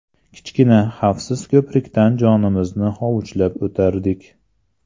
Kichkina, xavfsiz ko‘prikdan jonimizni hovuchlab o‘tardik.